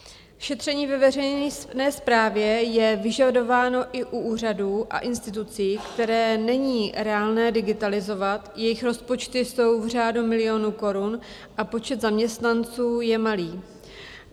Šetření ve veřejné správě je vyžadováno i u úřadů a institucí, které není reálné digitalizovat, jejich rozpočty jsou v řádu milionů korun a počet zaměstnanců je malý.